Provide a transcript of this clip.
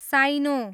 साइनो